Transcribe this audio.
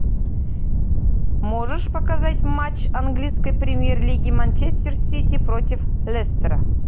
можешь показать матч английской премьер лиги манчестер сити против лестера